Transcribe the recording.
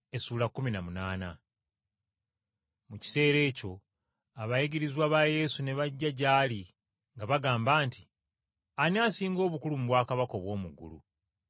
Mu kiseera ekyo abayigirizwa ba Yesu ne bajja gy’ali nga bagamba nti, “Ani asinga obukulu mu bwakabaka obw’omu ggulu?”